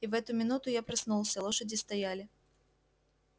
и в эту минуту я проснулся лошади стояли